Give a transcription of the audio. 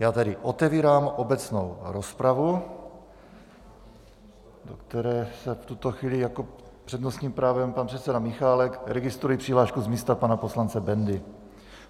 Já tedy otevírám obecnou rozpravu, do které je v tuto chvíli s přednostním právem pan předseda Michálek, registruji přihlášku z místa pana poslance Bendy.